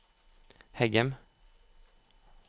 Heggem